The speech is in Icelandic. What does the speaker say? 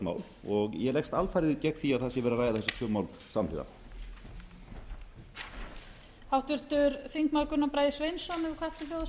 mál ég leggst alfarið gegn því að það sé verið að ræða þessi tvö mál samhliða